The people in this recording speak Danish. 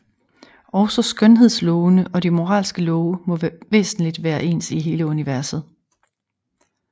Også skønhedslovene og de moralske love må væsentlig være ens i hele universet